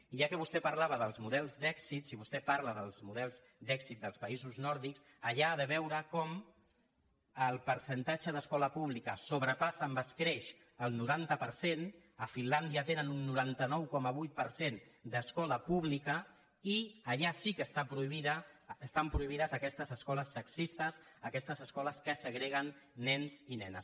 i ja que vostè parlava dels models d’èxit si vostè parla dels models d’èxit dels països nòrdics allà ha de veure com el percentatge d’escola pública sobrepassa amb escreix el noranta per cent a finlàndia tenen un noranta nou coma vuit per cent d’escola pública i allà sí que estan prohibides aquestes escoles sexistes aquestes escoles que segreguen nens i nenes